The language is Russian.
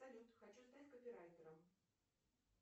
салют хочу стать копирайтером